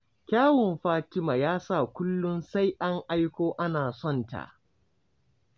Kyawun Fatima ya sa kullum sai an aiko ana sonta.